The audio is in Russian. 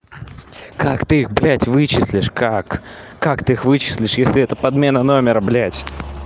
как ты их блядь вычислишь как как ты их вычислишь если эта подмена номера блядь